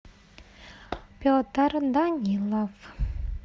петр данилов